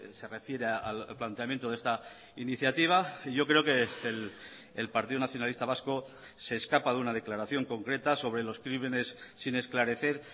se refiere al planteamiento de esta iniciativa yo creo que el partido nacionalista vasco se escapa de una declaración concreta sobre los crímenes sin esclarecer